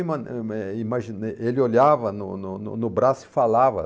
Eh eh imaginei, ele olhava no no no no braço e falava.